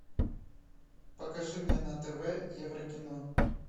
покажи мне на тв еврокино